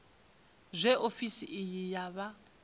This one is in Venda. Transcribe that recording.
zwe ofisi iyi ya vha